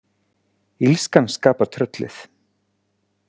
Illskan skapar tröllið.